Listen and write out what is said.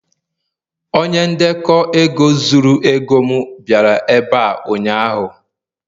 onye ndekọ ego zuru ego m bịara ebe a ụnyaahụ